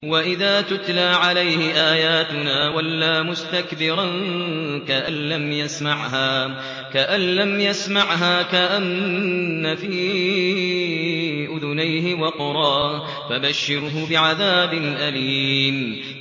وَإِذَا تُتْلَىٰ عَلَيْهِ آيَاتُنَا وَلَّىٰ مُسْتَكْبِرًا كَأَن لَّمْ يَسْمَعْهَا كَأَنَّ فِي أُذُنَيْهِ وَقْرًا ۖ فَبَشِّرْهُ بِعَذَابٍ أَلِيمٍ